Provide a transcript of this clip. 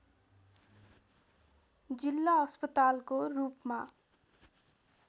जिल्ला अस्पतालको रूपमा